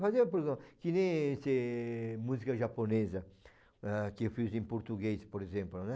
Fazer, por exemplo, que nem esse música japonesa, ah, que eu fiz em português, por exemplo, né?